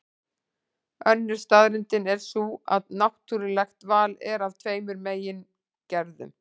Önnur staðreyndin er sú að náttúrulegt val er af tveimur megin gerðum.